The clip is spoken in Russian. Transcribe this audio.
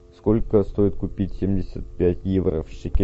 сколько стоит купить семьдесят пять евро в шекелях